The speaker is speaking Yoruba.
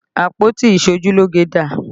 Àpótí iṣojúlógé dà?